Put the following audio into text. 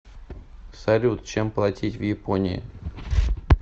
салют чем платить в японии